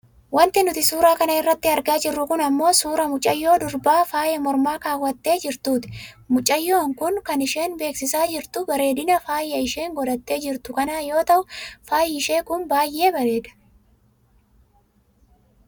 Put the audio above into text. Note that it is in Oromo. Wanti nuti suura kana irratti argaa jirru kun ammoo suuraa mucayyoo durbaa fayaa mormaa kawwaattee jirtuuti. Mucayyoon kun kan isheen beeksisaa jirtu bareedina faaya isheen godhattee jirtuu kanaa yoo ta'u faayi ishee kun baayyee bareeda.